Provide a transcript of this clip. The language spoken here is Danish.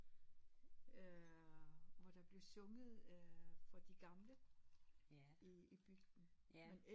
Øh hvor der blev sunget øh for de gamle i i bygden